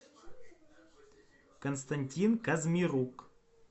константин казмирук